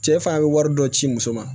Cɛ fana bɛ wari dɔ ci muso ma